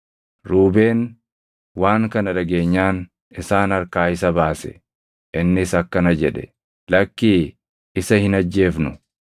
Ruubeen waan kana dhageenyaan isaan harkaa isa baase. Innis akkana jedhe; “Lakkii isa hin ajjeefnu;